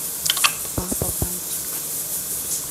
папа пальчик